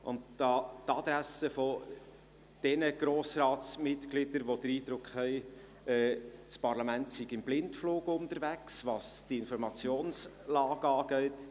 An die Adresse von denjenigen Grossratsmitgliedern, die den Eindruck haben, das Parlament sei im Blindflug unterwegs, was die Informationslage angeht: